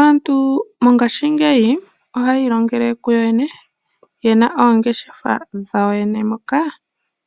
Aantu mongashingeyi ohaya ilongele kuyoyene yena oongeshefa dhayo yene moka